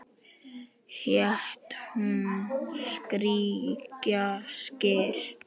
Hét hún Skrækja Skyr?